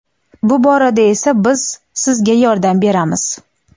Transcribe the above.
Bu borada esa biz sizga yordam beramiz.